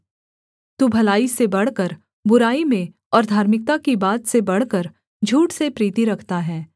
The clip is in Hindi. तू भलाई से बढ़कर बुराई में और धार्मिकता की बात से बढ़कर झूठ से प्रीति रखता है सेला